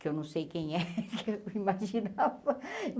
Que eu não sei quem é, que eu imaginava.